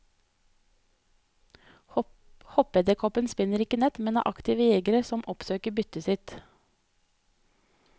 Hoppeedderkoppene spinner ikke nett, men er aktive jegere som oppsøker byttet sitt.